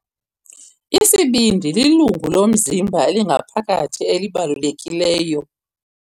Isibindi lilungu lomzimba elingaphakathi elibalulekileyo.